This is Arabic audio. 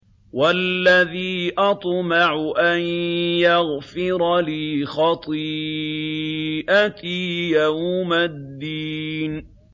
وَالَّذِي أَطْمَعُ أَن يَغْفِرَ لِي خَطِيئَتِي يَوْمَ الدِّينِ